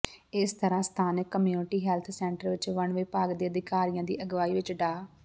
ਇਸ ਤਰ੍ਹਾਂ ਸਥਾਨਕ ਕਮਿਊਨਿਟੀ ਹੈਲਥ ਸੈਂਟਰ ਵਿੱਚ ਵਣ ਵਿਭਾਗ ਦੇ ਅਧਿਕਾਰੀਆਂ ਦੀ ਅਗਵਾਈ ਵਿੱਚ ਡਾ